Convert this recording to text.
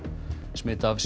smit af